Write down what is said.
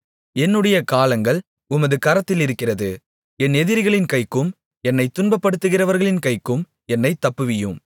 என்னுடைய காலங்கள் உமது கரத்திலிருக்கிறது என் எதிரிகளின் கைக்கும் என்னைத் துன்பப்படுத்துகிறவர்களின் கைக்கும் என்னைத் தப்புவியும்